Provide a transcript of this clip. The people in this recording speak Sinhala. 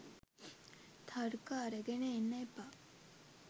තර්ක අරගෙන එන්න එපා.